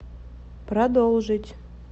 продолжить